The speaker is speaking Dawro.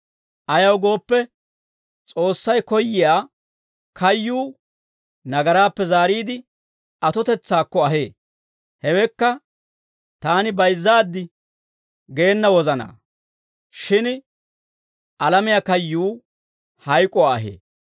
Ayaw gooppe, S'oossay koyyiyaa kayyuu nagaraappe zaariide atotetsaakko ahee; hewekka taani bayizzaaddi geena wozanaa; shin alamiyaa kayyuu hayk'uwaa ahee.